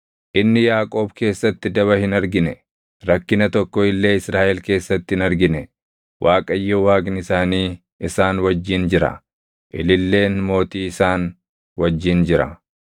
“Inni Yaaqoob keessatti daba hin argine; rakkina tokko illee Israaʼel keessatti hin argine. Waaqayyo Waaqni isaanii isaan wajjin jira; ililleen Mootii isaan wajjin jira.